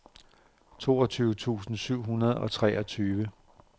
toogtyve tusind syv hundrede og treogtyve